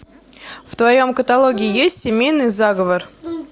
в твоем каталоге есть семейный заговор